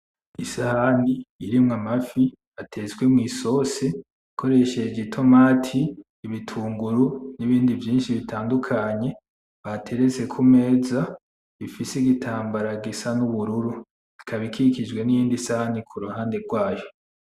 Isahani irimwo amafi atetse mw’ isosi ukoresheje itomati, ibitunguru, n’ibindi vyinshi bitandukanye batereste kumeza bifise igitambara gisa nubururu ikaba ikikijwe niyindi sahani.